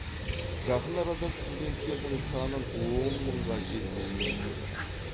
жақын арада студенттердің санын он мыңға жеткізгіміз келеді